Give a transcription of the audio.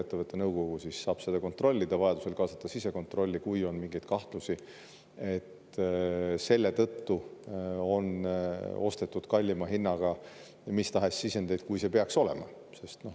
Ettevõtte nõukogu saab seda kontrollida, vajaduse korral kaasata sisekontrolli, kui on mingeid kahtlusi, et on ostetud kallima hinnaga mis tahes sisendeid, kui see peaks olema.